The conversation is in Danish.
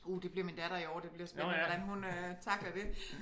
Uh det bliver min datter i år det bliver spændende hvordan hun øh tackler det